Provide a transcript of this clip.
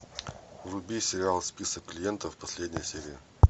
вруби сериал список клиентов последняя серия